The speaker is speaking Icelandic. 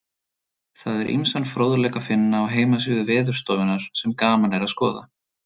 Það er ýmsan fróðleik að finna á heimasíðu Veðurstofunnar sem gaman er að skoða.